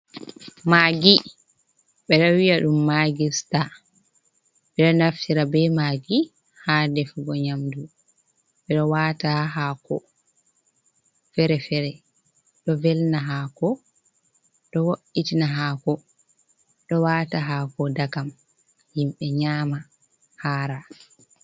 Magi bedo wi’a dum magista bedo naftira be magi ha defugo nyamdu, bedo wata ha hako fere-fere do velna hako do wo’itina hako do wata hako dagam himbe nyama hara.